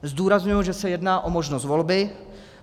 Zdůrazňuji, že se jedná o možnost volby.